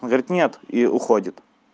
он говорит нет и уходит